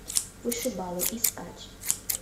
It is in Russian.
вышибалы искать